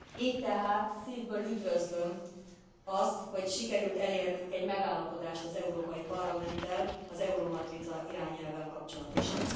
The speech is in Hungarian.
Így tehát szívből üdvözlöm azt, hogy sikerült elérnünk egy megállapodást az Európai Parlamenttel az Euromatrica irányelvvel kapcsolatosan.